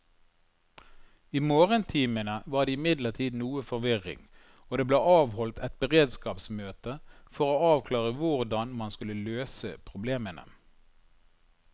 I morgentimene var det imidlertid noe forvirring, og det ble avholdt et beredskapsmøte for å avklare hvordan man skulle løse problemene.